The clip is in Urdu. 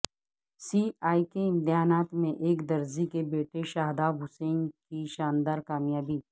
سی اے کے امتحانات میں ایک درزی کے بیٹے شاداب حسین کی شاندار کامیابی